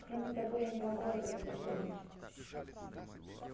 кроме того я не могу этого повторить